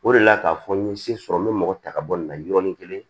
O de la k'a fɔ n ye se sɔrɔ n bɛ mɔgɔ ta ka bɔ nin na yɔrɔnin kelen